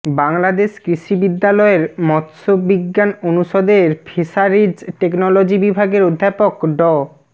বাংলাদেশ কৃষি বিশ্ববিদ্যালয়ের মাৎস্যবিজ্ঞান অনুষদের ফিশারিজ টেকনোলজি বিভাগের অধ্যাপক ড